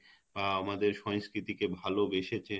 আহ আমাদের সংস্কৃতি কে ভালোবেসেছে